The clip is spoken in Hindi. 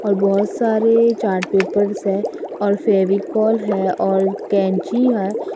और बहोत सारे चार्ट पेपर्स है और फेविकोल है और कैंची है।